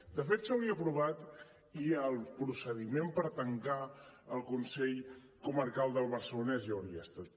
de fet s’hauria aprovat i el procediment per tancar el consell comarcal del barcelonès ja hauria estat